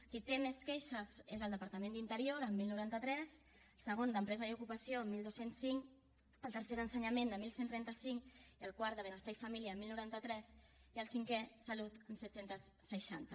qui té més queixes és el departament d’interior amb deu noranta tres segon el d’empresa i ocupació amb dotze zero cinc el tercer el d’ensenyament amb onze trenta cinc el quart el de benestar i família amb deu noranta tres i el cinquè salut amb set cents i seixanta